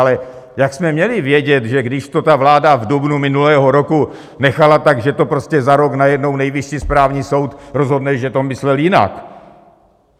Ale jak jsme měli vědět, že když to ta vláda v dubnu minulého roku nechala, tak že to prostě za rok najednou Nejvyšší správní soud rozhodne, že to myslel jinak?